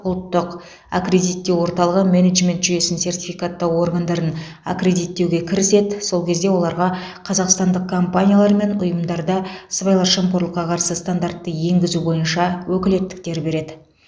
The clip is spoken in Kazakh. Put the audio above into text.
ұлттық аккредиттеу орталығы менеджмент жүйесін сертификаттау органдарын аккредиттеуге кіріседі сол кезде оларға қазақстандық компаниялар мен ұйымдарда сыбайлас жемқорлыққа қарсы стандартты енгізу бойынша өкілеттіктер береді